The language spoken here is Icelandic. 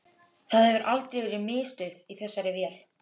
Það hefur aldrei verið miðstöð í þessari vél